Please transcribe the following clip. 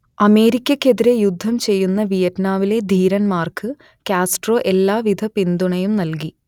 അമേരിക്കക്കെതിരേ യുദ്ധം ചെയ്യുന്ന വിയറ്റ്നാമിലെ ധീരന്മാർക്ക് കാസ്ട്രോ എല്ലാ വിധ പിന്തുണയും നൽകി